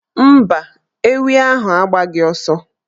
Mba, ewi ahụ agbaghị ọsọ.